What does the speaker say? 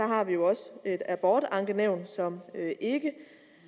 har vi jo også et abortankenævn som ikke